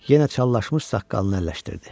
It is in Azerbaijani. Yenə çallaşmış saqqalını əlləşdirdi.